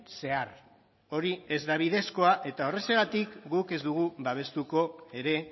zehar hori ez da bidezkoa eta horrexegatik guk ez dugu babestuko ere